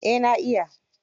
Eh na iya.